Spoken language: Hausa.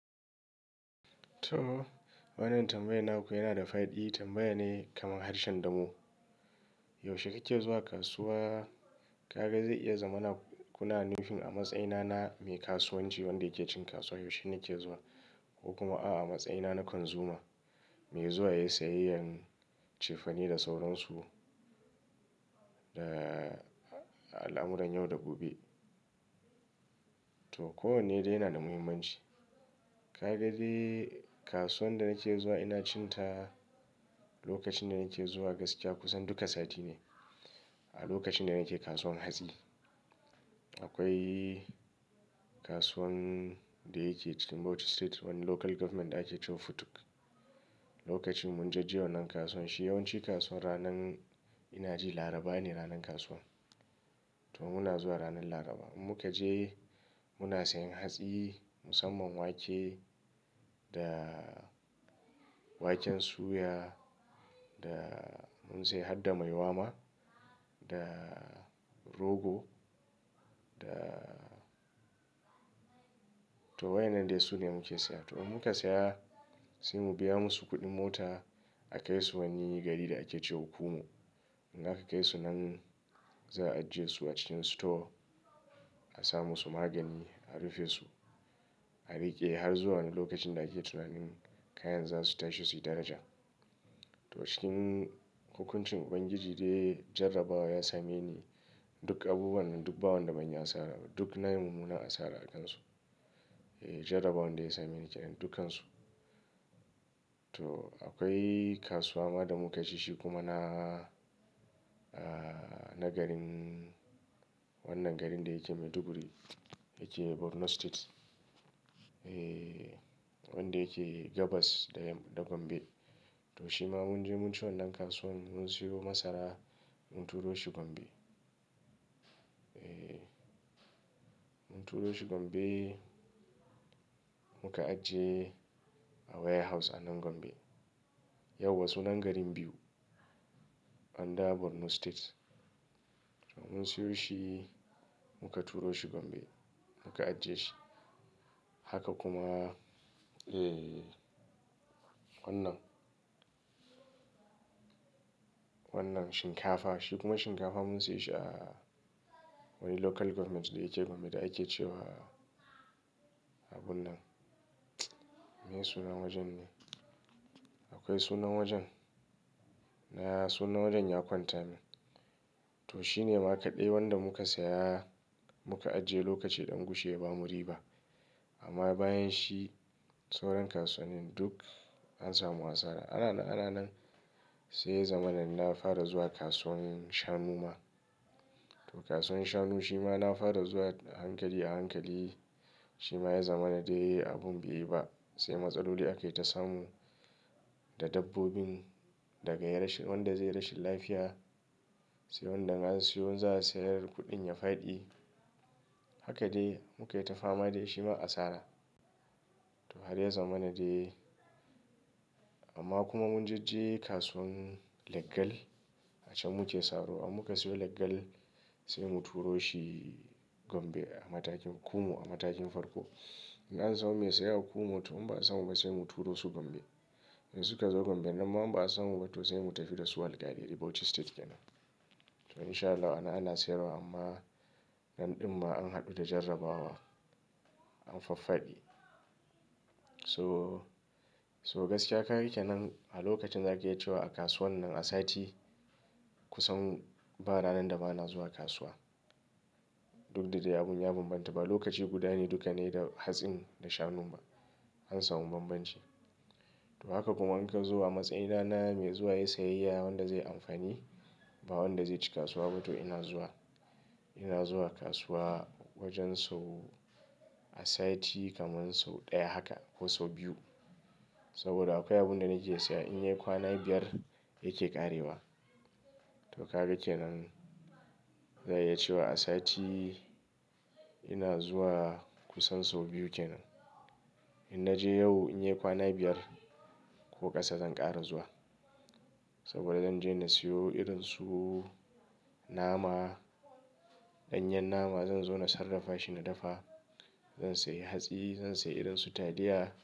To, wannan tambayar naku yana da fa'di tambaya ne kamar harshen damo. Yaushe kake zuwa kasuwa? Ka ga zai iya zama kuna nufin a matsayina na mai kasuwanci wanda yake cin kasuwa, yaushe nake zuwa ko kuma a matsayina na konzuma, mai zuwa yayi sayayyan cefane da sauransu da al'amuran yau da gobe. To, ko wane dai yana da muhimmanci. Ka ga dai kasuwan da nake zuwa ina cin ta lokacin da nake zuwa gaskiya kusan duka sati ne. A lokacin da nake kasuwan hatsi. Akwai kasuwan da yake cikin Bauchi State wani Local Government ake cewa Futuk. Lokacin munje je wannan kasuwan shi yawanci kasuwan ranan ina ji Laraba ne ranan kasuwan. To muna zuwa ranan Laraba. Mu kaje muna sayan hatsi musamman wake da waken suya da mun siya har da maiwa ma da rogo da to waɗannan dai sune muke siya. To muka siya sai mu biya musu kuɗin mota a kai su wani gari da ake cewa Kumu. Daka kai su nan za a ajiye su a cikin store a samo su magani a rufe su, a riƙe har zuwa wani lokacin da ake tunanin kayan za su tashi suyi daraja. To cikin hukuncin Ubangiji dai jarabawa ya same ni duk abubuwanana duk bawan da ban yi asara duk na yi mummunan asara a kansu. Eh, jarabawan da ya same ni kenan dukansu. To akwai kasuwa ma da muka je shi kuma na, ah, na garin wannan garin da yake Maiduguri yake Borno State. Eh, wanda yake Gabas da Gombe. To shi ma munje mun ci wannan kasuwan mun siyo masara mun turo shi Gombe. Eh, mun turo shi Gombe muka ajiye a warehouse a nan Gombe. Yauwa sunan garin biyu, under Borno State. Mun siyo shi muka turo shi Gombe muka ajiye shi. Haka kuma, eh, wannan, wannan shinkafa. Shi kuma shinkafa mun siya shi a wani Local Government da yake Gombe da ake cewa abun nan. Me sunan wajen ne? Akwai sunan wajen. Na, sunan wajen ya kwanta min. To shine ma kaɗai wanda muka siya muka ajiye lokaci ɗan gushe ya bamu riba. Amma bayan shi sauran kasuwannin duk an samu asara. Ana na ana nan sai ya zama nan na fara zuwa kasuwannin shanu ma. To kasuwan shanu shi ma na fara zuwa a hankali a hankali. Shi ma ya zama na dai abun bai yi ba. Sai matsaloli aka yi ta samu da dabbobin daga wanda zai yi rashin lafiya sai wanda an siyo za a sayar kuɗin ya faɗi. Haka dai muka yi ta fama dai shi ma asara. To har ya zama na dai. Amma kuma mun je kasuwan leggal a can muke saro. In muka siyo leggal sai mu turo shi Gombe a matakin Kumu a matakin farko. In an samo mai siya a Kumu to in ba a samu ba sai mu turo su Gombe. Sai suka zo Gombe nan ma in ba a samu ba to sai mu tafi da su alkali Bauchi State kenan. To in sha Allah ana, ana sayarwa amma nan ɗin ma an haɗu da jarrabawa an faffadi. So, so gaskiya kaga kenan a lokacin da ake cewa a kasuwan nan a sati kusan ba ranan da ba na zuwa kasuwa. Duk da dai abun ya bambanta ba lokaci guda ne duka ne da hatsin da shanu ba an samu bambanci. To haka kuma in ka zu matsayina na mai zuwa yayi sayayya wanda zai amfani ba wanda zai ci kasuwa ba to ina zuwa, ina zuwa kasuwa wajen sau a sati kaman sau ɗaya haka ko sau biyu. Saboda akwai abun da nake siya in yi kwana biyar yake ƙarewa. To ka ga kenan zan iya cewa a sati ina zuwa kusan sau biyu kenan. In naje yau in yi kwana biyar ko ƙasa zan ƙara zuwa. Saboda zan je na siyo irin su nama, ɗanyen nama zan zo na sarrafa shi na dafa. Zan siya hatsi, zan siya irin su taliya.